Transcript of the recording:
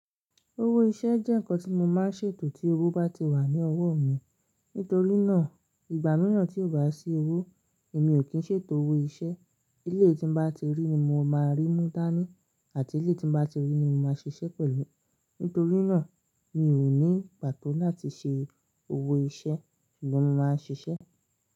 Owó iṣẹ́ jẹ́ ǹnkan tí mo máa ń ṣètò tí owó bá ti wà ní ọwọ́ mi. Nítorí náà, ìgbà mìíràn tí ò bá sí owó èmi ò kí ń ṣètò owó iṣẹ́. Eléyii tí n bá ti rí ní mo máa rí mú dání àti eléyi tí n bá ti rí ní mo máa ṣiṣẹ́ pẹ̀lú. Nítorí náà, mi ò ní pàtó láti ṣe owó iṣẹ́ ṣùgbọ́n mo máa ń ṣiṣẹ́.